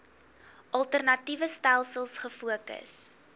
alternatiewe stelsels gefokus